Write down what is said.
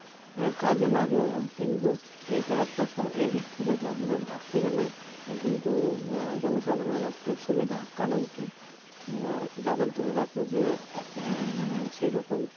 হ্যাঁ কাজে লাগলো না কিন্তু এটা একটা এদিক থেকে ভাবলে ভাবতে গেলে কিন্তু আহ জন সাধারণের একটা সুবিধা কারণ কী যাদের ধরে রাখো যে আহ মানে সেরকম